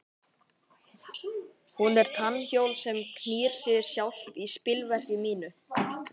Hún er tannhjól sem knýr sig sjálft í spilverki mínu.